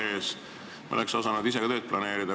Siis me oleks osanud ise ka tööd planeerida.